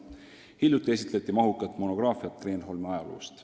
Hiljuti esitleti mahukat monograafiat Kreenholmi ajaloost.